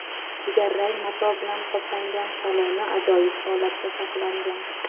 Jigarrang mato bilan qoplangan saloni ajoyib holatda saqlangan.